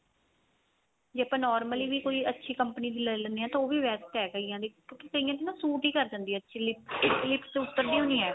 ਜੇ ਆਪਾਂ normally ਵੀ ਕੋਈ ਅੱਛੀ company ਦੀ ਲਈ ਲੈਨੇ ਆ ਤਾਂ ਉਹ ਵੀ best ਹੈ ਕਈਆਂ ਦੀ ਕਿਉਂਕਿ ਕਈਆਂ ਦੀ ਨਾ suit ਹੀ ਕ਼ਰ ਜਾਂਦੀ ਹੈ actually cheeks ਤੋਂ ਉਤਰਦੀ ਓਨਹੀਂ ਏ